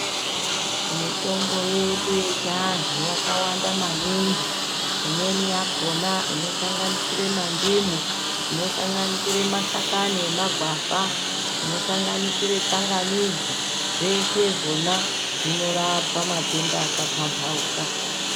Mitomno yedu yechianhu yakawanda maningi. Imweni yakona inosanganisira mandimu, inosanganisira mashakani emagwavha, inosanganisira tsangamidzi, zveshe zvona zvinorapa matenda akapambauka.